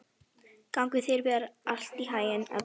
Gangi þér allt í haginn, Elba.